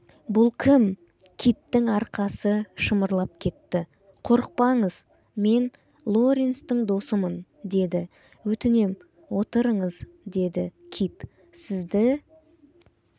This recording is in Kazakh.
бұл кім киттің арқасы шымырлап кетті қорықпаңыз мен лоренстің досымын деді өтінем отырыңыз деді кит сізді